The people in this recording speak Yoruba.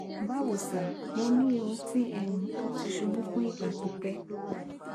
bawo sir mo ni irun ti um o ti ṣubu fun igba pipẹ